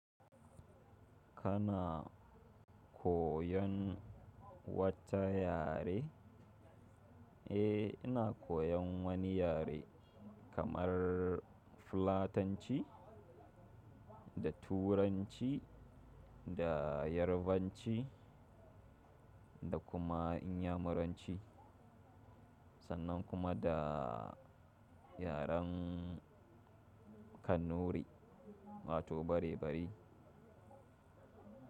Kana koyan wata yare? Eh, ina koyan wani yare kamar Fulatanci da Turanci da Yarbanci da kuma Inyamuranci sannan kuma da yaren Kannuri, wato barebari.